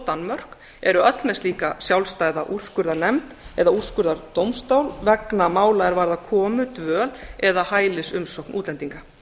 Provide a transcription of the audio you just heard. danmörk eru öll með slíka sjálfstæða úrskurðarnefnd eða úrskurðardómstól vegna mála er varða komu dvöl eða hælisumsókn útlendinga